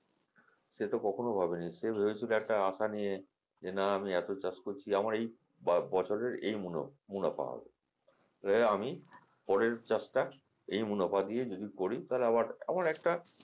সে তো কখনোই ভাবেনি সে ভাবছিল একটা আশা নিয়ে যে না আমি এতো চাষ করছি আমার এই বছরের এই মুনা মুনাফা হবে আমি পরের চাষটা এই মুনাফা দিয়ে যদি করি তাহলে আবার একটা,